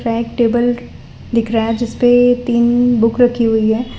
Back table दिख रहा है जिस पे तीन बुक रखी हुई है।